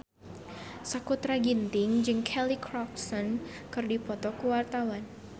Sakutra Ginting jeung Kelly Clarkson keur dipoto ku wartawan